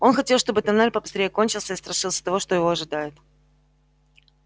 он хотел чтобы тоннель побыстрее кончился и страшился того что его ожидает